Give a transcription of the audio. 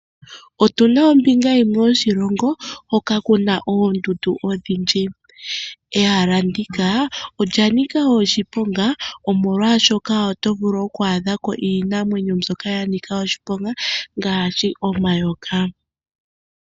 Oruna ombinga yimwe yoshilongo hoka kuna oondundu ondhindji. Ehala ndika olya noka oshiponga, omolwaashoka oto vulu oku adhako iinamwenyo mbyoka yanika oshiponga ngaashi, omayoka.